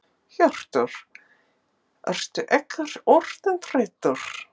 Hjörtur: Ertu ekkert orðinn þreyttur?